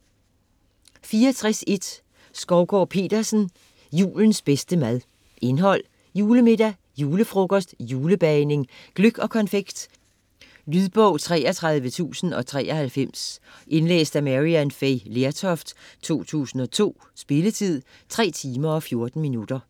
64.1 Skovgaard-Petersen, Anne: Julens bedste mad Indhold: Julemiddag; Julefrokost; Julebagning; Gløgg og konfekt. Lydbog 33093 Indlæst af Maryann Fay Lertoft, 2002. Spilletid: 3 timer, 14 minutter.